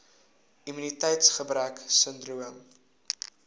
immuniteits gebrek sindroom